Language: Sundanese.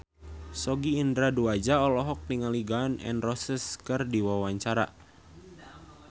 Sogi Indra Duaja olohok ningali Gun N Roses keur diwawancara